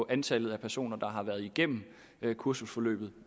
antallet af personer der har været igennem kursusforløbet